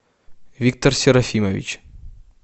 виктор серафимович